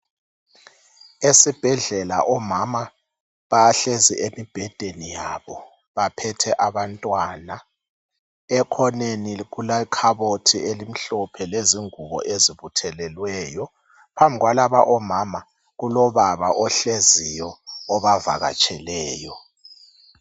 Esibhedlela omama bahlezi emibhedeni yabo baphethe abantwana. Ekhoneni kulekhabothi elimhlophe lezingubo ezibuthelweleyo. Phambi kwalaba omama kulobaba ohleziyo obavakatsheleyo